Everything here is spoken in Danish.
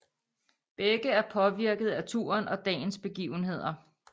Begge er påvirkede af turen og dagens begivenheder